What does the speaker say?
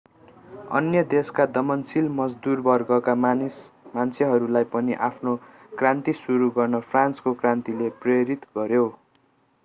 अन्य देशका दमनशील मजदूर वर्गका मान्छेहरूलाई पनि आफ्नो क्रान्ति सुरु गर्न फ्रान्सको क्रान्तिले प्रेरित गर्‍यो।